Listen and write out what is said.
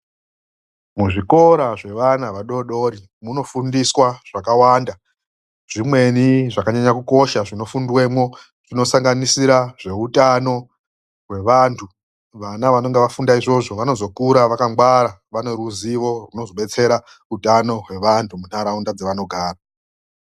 Muzvikora zvevana vadodori munofundiswa zvakawanda. Zvimweni zvakanyanya kukosha zvinofundwemwo zvinosanganisira zveutano wevanthu. Vana vanonga vafunda izvozvo vanozokura vakangwara vane ruzivo runozobatsera utano hwevanhu munharaunda dzevanogara.